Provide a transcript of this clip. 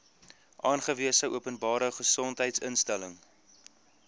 aangewese openbare gesondheidsinstelling